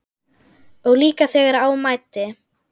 Og líka þegar á mæddi.